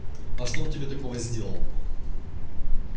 а что он тебе такого сделал